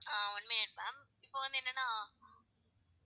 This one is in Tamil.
ஆஹ் one minute ma'am இப்போ வந்து என்னென்னா